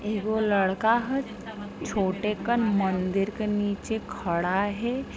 एगो लड़का हैं छोटे कन मंदिर के नीचे खड़ा हैं।